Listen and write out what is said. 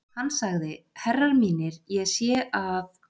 Hann sagði: Herrar mínir, ég sé að.